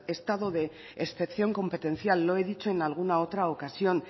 estado de excepción competencial lo he dicho en alguna otra ocasión